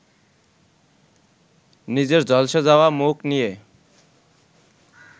নিজের ঝলসে যাওয়া মুখ নিয়ে